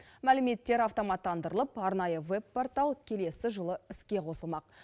мәліметтер автоматтандырылып арнайы веб портал келесі жылы іске қосылмақ